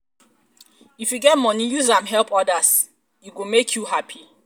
um if you get moni use am help odas e go make you hapi.